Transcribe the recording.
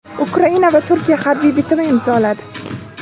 Ukraina va Turkiya harbiy bitim imzoladi.